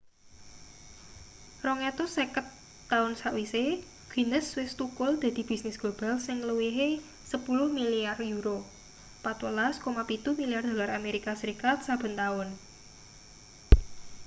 250 taun sawise guinness wis thukul dadi bisnis global sing ngluwihi 10 milyar euro 14,7 milyar dolar amerika serikat saben taun